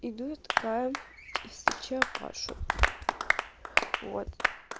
иду я такая и встречаю пашу вот